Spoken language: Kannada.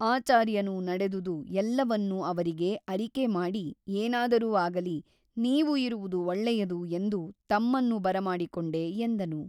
ಆಚಾರ್ಯನು ನಡೆದುದು ಎಲ್ಲವನ್ನೂ ಅವರಿಗೆ ಅರಿಕೆ ಮಾಡಿ ಏನಾದರೂ ಆಗಲಿ ನೀವು ಇರುವುದು ಒಳ್ಳೆಯದು ಎಂದು ತಮ್ಮನ್ನು ಬರಮಾಡಿಕೊಂಡೆ ಎಂದನು.